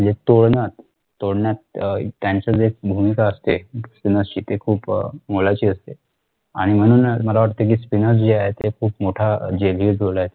तोडण्यात तोडण्यात त्यांचं जे भूमिका असते कोणाशी ते खुप मोलाची असते आणि म्हणूनच मला वाटतंय कि spinner जे आहे खुप मोठा genune role